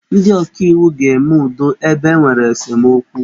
Ndị ọkaiwu ga-eme udo ebe e nwere esemokwu.